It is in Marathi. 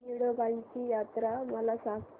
येडोबाची यात्रा मला सांग